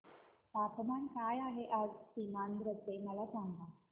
तापमान काय आहे आज सीमांध्र चे मला सांगा